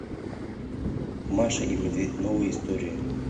маша и медведь новые истории